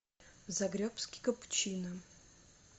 загребский капучино